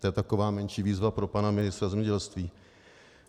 To je taková menší výzva pro pana ministra zemědělství.